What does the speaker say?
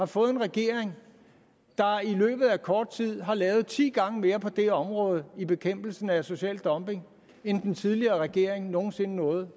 fået en regering der i løbet af kort tid har lavet ti gange mere på det her område i bekæmpelsen af social dumping end den tidligere regering nogen sinde nåede